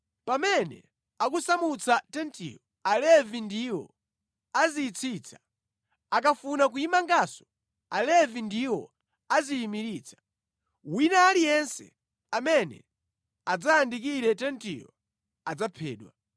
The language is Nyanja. Pamene akusamutsa tentiyo, Alevi ndiwo aziyitsitsa, akafuna kuyimanganso, Alevi ndiwo aziyimiritsa. Wina aliyense amene adzayandikire tentiyo adzaphedwa.